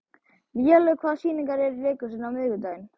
Vélaug, hvaða sýningar eru í leikhúsinu á miðvikudaginn?